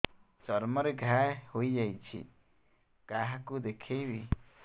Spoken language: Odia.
ଚର୍ମ ରେ ଘା ହୋଇଯାଇଛି କାହାକୁ ଦେଖେଇବି